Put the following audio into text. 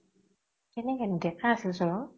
কেনেকে নো দেকা আছিলচোন ও